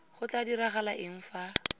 go tla diragala eng fa